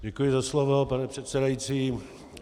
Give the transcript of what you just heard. Děkuji za slovo, pane předsedající.